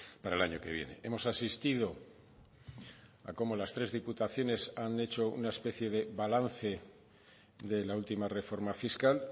para el año que viene hemos asistido a cómo las tres diputaciones han hecho una especie de balance de la última reforma fiscal